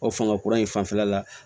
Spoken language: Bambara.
O fanga kura in fanfɛla la